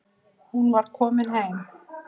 Hún var komin heim.